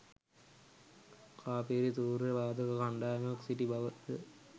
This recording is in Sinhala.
කාපිරි තූර්ය වාදක කණ්ඩායමක් සිටි බවද